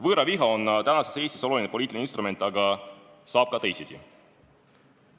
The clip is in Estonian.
Võõraviha on praeguses Eestis oluline poliitiline instrument, aga saab ka teisiti.